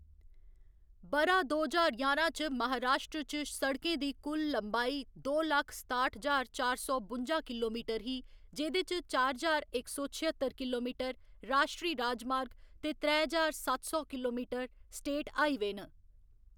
ब'रा दो ज्हार ञारां च महाराश्ट्र च सड़कें दी कुल लंबाई दो लक्ख सताठ ज्हार चार सौ बुंजा किलोमीटर ही, जेह्‌‌‌दे च चार ज्हार इक सौ छअत्तर किलोमीटर राश्ट्री राजमार्ग ते त्रै ज्हार सत्त सौ किलोमीटर स्टेट हाईवेऽ न।